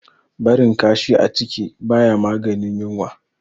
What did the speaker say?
Barin kashi a ciki ba ya maganin yunwa.